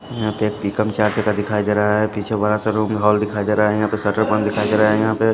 यहां पे एक पिकअप जाते का दिखाई दे रहा है पीछे बड़ा सा रूम हॉल दिखाई दे रहा है यहां पर शटर बंद दिखाई दे रहा है यहां पे--